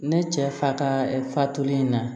Ne cɛ fa ka fatulen na